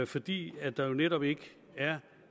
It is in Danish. fordi der netop ikke er